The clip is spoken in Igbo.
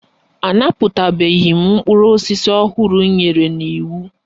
A napụtabeghị mkpụrụ osisi ọhụrụ m nyere n'iwu.